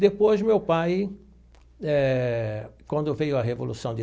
Depois, meu pai eh, quando veio a Revolução de.